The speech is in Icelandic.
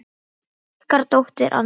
Ykkar dóttir, Anna.